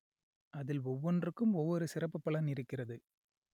அதில் ஒவ்வொன்றுக்கும் ஒவ்வொரு சிறப்பு பலன் இருக்கிறது